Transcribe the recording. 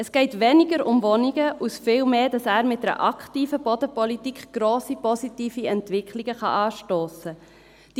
Es geht weniger um Wohnungen und viel mehr darum, dass er mit einer aktiven Bodenpolitik grosse positive Entwicklungen anstossen kann.